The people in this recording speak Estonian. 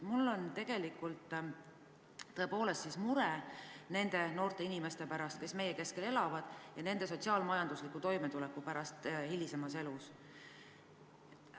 Mul on tõepoolest siis mure nende noorte inimeste pärast, kes meie keskel elavad, ja nende sotsiaalmajandusliku toimetuleku pärast hilisemas elus.